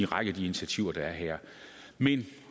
række af de initiativer der er her men